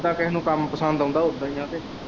ਜਿੱਦਾ ਕੇਹੇ ਨੂੰ ਕੰਮ ਪਸੰਦ ਆਉਂਦਾ ਉੱਦੇ ਹੀ ਆ ਫੇਰ।